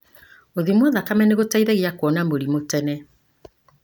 Gũthimwo thakame nĩgũteithagia kũona mĩrimũ tene.